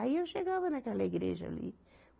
Aí eu chegava naquela igreja ali.